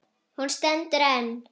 Hún stendur enn.